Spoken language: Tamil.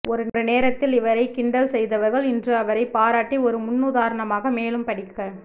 ஒரு நேரத்தில் இவரை கிண்டல் செய்தவர்கள் இன்று அவரை பாராட்டி ஒரு முன்னுதாரணமாக மேலும் படிக்க